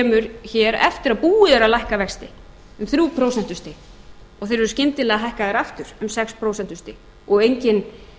kemur hér eftir að búið er að lækka vexti um þrjú prósentustig að þeir eru skyndilega hækkaðir aftur um sex prósentustig og enginn